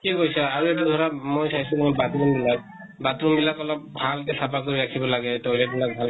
ঠিকেই কৈছা । আৰু এটা ধৰা, মই চাইছো মই bathroom বিলাক ,bathrom বিলাক অলপ ভাল কে চাফা কৰি ৰাখিব লাগে, toilet বিলাক